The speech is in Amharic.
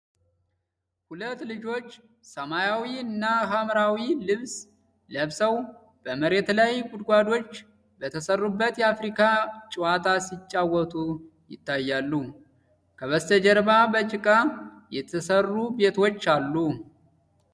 ሁለት ልጆች፣ ሰማያዊ እና ሐምራዊ ልብስ ለብሰው፣ በመሬት ላይ ጉድጓዶች በተሰሩበት የአፍሪካ ጨዋታ ሲጫወቱ ይታያሉ። ከበስተጀርባ በጭቃ የተሰሩ ቤቶች አሉ።